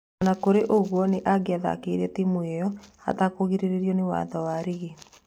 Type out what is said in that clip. Ona kũrĩ o ũguo, nĩ angĩathakĩire timu ĩyo atangĩagiririo nĩ watho wa rigi.